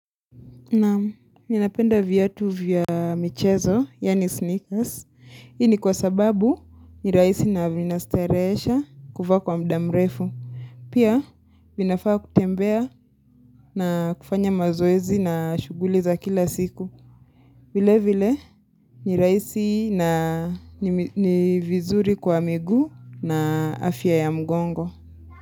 Na ninapenda viatu vya michezo, yaani sneakers, hii ni kwa sababu nirahisi na vinastarehesha kuvaa kwa muda mrefu. Pia vinafaa kutembea na kufanya mazoezi na shughuli za kila siku. Vile vile nirahisi na nivizuri kwa miguu na afya ya mgongo.